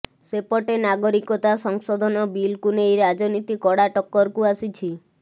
ସେପଟେ ନାଗରିକତା ସଂଶୋଧନ ବିଲ୍କୁ ନେଇ ରାଜନୀତି କଡ଼ାଟକ୍କରକୁ ଆସିଛି